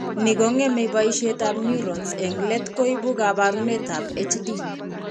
Ni ko ng'eme boisietap neurons, eng' let koibu kaabarunetap HD.